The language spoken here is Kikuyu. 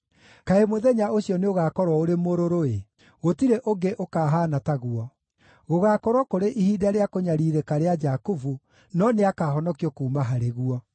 Kaĩ mũthenya ũcio nĩũgakorwo ũrĩ mũrũrũ-ĩ! Gũtirĩ ũngĩ ũkahaana taguo. Gũgaakorwo kũrĩ ihinda rĩa kũnyariirĩka rĩa Jakubu, no nĩakahonokio kuuma harĩ guo.’